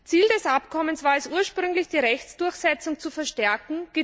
Ziel des Abkommens war es ursprünglich, die Rechtsdurchsetzung zu verstärken.